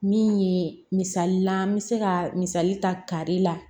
Min ye misali la n bɛ se ka misali ta kare la